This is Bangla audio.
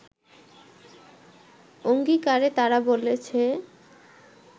অংগীকারে তারা বলেছে